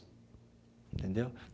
Entendeu?